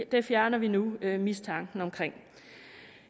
det fjerner vi nu mistanken om